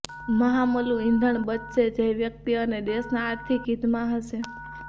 મહામુલુ ઈંધણ બચશે જે વ્યક્તિ અને દેશના આર્થિક હિતમાં હશે